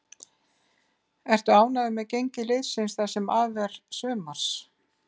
Ertu ánægður með gengi liðsins það sem af er sumars?